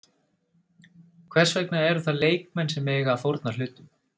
Hvers vegna eru það leikmenn sem eiga að fórna hlutum?